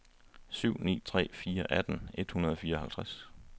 syv ni tre fire atten et hundrede og fireoghalvfjerds